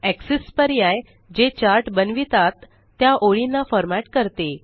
axis पर्याय जे chart बनवितात त्या ओळींना फ़ॉर्मेट करते